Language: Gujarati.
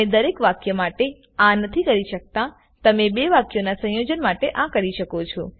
તમે દરેક વાક્ય માટે આ નથી કરી શકતાતમે બે વાક્યોના સંયોજન માટે આ કરી શકો છો